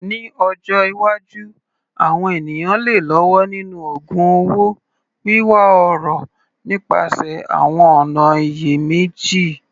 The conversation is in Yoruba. Ní ọjọ́ iwájú, àwọn ènìyàn lè lọ́wọ́ nínú ògun un owó, wíwá ọrọ̀ nípasẹ̀ àwọn ọ̀nà ìyèméjì.